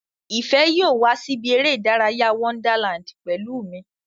Ìfẹ́ yóò wá sí ibi eré ìdárayá Wonderland pẹ̀lú mi